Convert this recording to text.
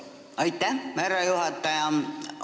Aitäh, härra juhataja!